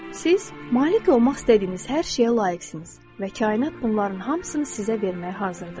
Siz malik olmaq istədiyiniz hər şeyə layiqsiniz və kainat bunların hamısını sizə verməyə hazırdır.